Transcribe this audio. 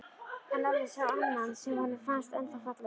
En Lalli sá annan sem honum fannst ennþá fallegri.